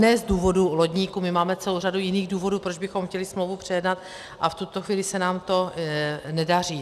Ne z důvodu lodníků, my máme celou řadu jiných důvodů, proč bychom chtěli smlouvu přejednat, a v tuto chvíli se nám to nedaří.